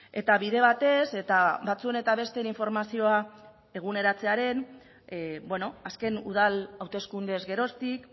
eta bide batez eta batzuen eta besteen informazioa eguneratzearren azken udal hauteskundeez geroztik